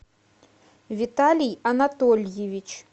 виталий анатольевич